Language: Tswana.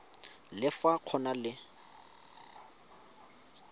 le fa go na le